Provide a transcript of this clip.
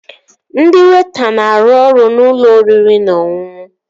Ndị weịta na-arụ ọrụ n'ụlọ oriri na ọṅụṅụ